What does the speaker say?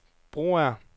Broager